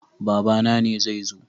Babana ne zai zo.